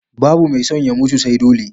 Babu mai son ya mutu sai dole